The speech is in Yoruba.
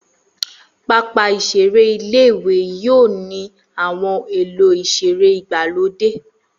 Pápá ìseré ilé-ìwé yóò ní àwọn ohun èlò ìseré ìgbàlódé